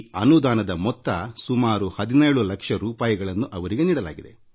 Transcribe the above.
ಅದರಡಿ ಅವರಿಗೆ 17 ಲಕ್ಷ ರೂಪಾಯಿ ಒದಗಿಸಲಾಗಿತ್ತು